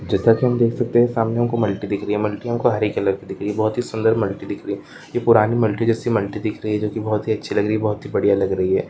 जैसा की हम देख सकते है सामने एक मल्टी दिख रही है मल्टी हमको हरे कलर की दिख रही है बहुत ही सुंदर मल्टी दिख रही है ये पुराने मल्टी जैसे मल्टी दिख रही है जो की बहुत की बहुत ही अच्छी दिख रही है बहुत ही बढ़िया लग रही है।